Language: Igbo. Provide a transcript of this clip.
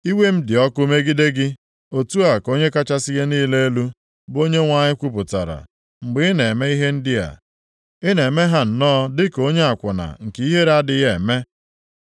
“ ‘Iwe m dị ọkụ megide gị, + 16:30 Lee ka i si bụrụ onye na-ata ahụ, onye obi ya na-esighị ike. otu a ka Onye kachasị ihe niile elu, bụ Onyenwe anyị kwupụtara. Mgbe ị na-eme ihe ndị a, ị na-eme ha nnọọ dị ka onye akwụna nke ihere adịghị eme. + 16:30 Onye na-adịghị ezo-ezo maọbụ na-eme omume ọ dịghị onye m hụrụ